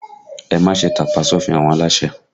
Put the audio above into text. Ẹ má ṣe tàpá sí òfin àwọn aláṣẹ!